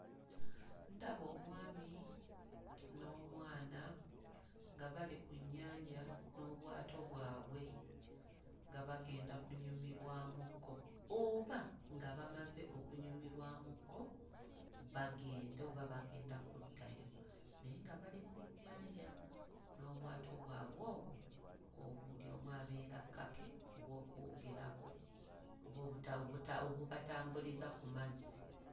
Ndaba omwami n'omwana nga bali ku nnyanja n'obwato bwabwe nga bagenda kunyumirwamukko oba nga bamaze okunyumirwakko bagenda oba bagenda kuddayo naye nga bali ku nnyanja n'obwato bwabwe obwo o... buli omu abeera ku kake obw'okuwugirako oba obuta... obubatambuliza ku mazzi.